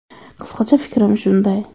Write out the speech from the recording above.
Qisqacha fikrim shunday.